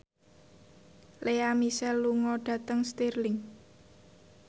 Lea Michele lunga dhateng Stirling